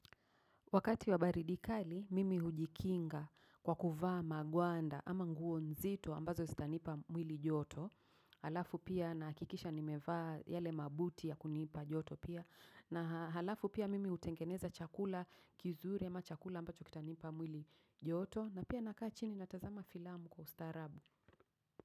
Wakati wa baridi kali, mimi hujikinga kwa kuvaa magwanda ama nguo nzito ambazo zitanipa mwili joto. Halafu pia nagakikisha nimevaa yale mabuti ya kunipa joto pia. Na halafu pia mimi hutengeneza chakula kizuri ama chakula ambacho kitanipa mwili joto. Na pia nakaa chini natazama filamu kwa ustarabu.